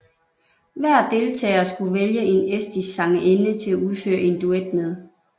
Hver deltager skulle vælge en estisk sangerinde til at udføre en duet med